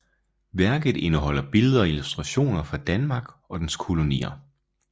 Værket indeholder billeder og illustrationer fra Danmark og dens kolonier